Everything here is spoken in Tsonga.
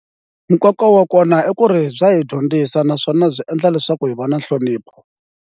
Nkoka wa kona i ku ri bya hi dyondzisa naswona byi endla leswaku hi va na nhlonipho.